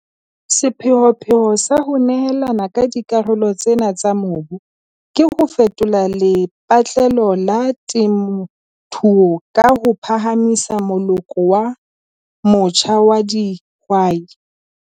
Sepheopheo sa ho nehelana ka dikarolo tsena tsa mobu ke ho fetola lepatlelo la temothuo ka ho phahamisa moloko o motjha wa dihwai.